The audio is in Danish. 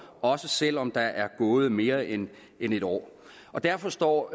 også selv om der er gået mere end en år derfor står